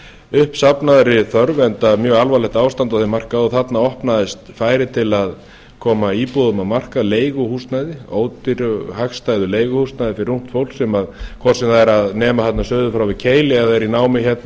uppsafnaðri þörf enda mjög alvarlegt ástand á þeim markaði þarna opnaðist færi til að koma íbúðum á markað leiguhúsnæði ódýru hagstæðu leiguhúsnæði fyrir ungt fólk sem hvort sem er er að nema þarna suður frá við keili eða er í námi hérna á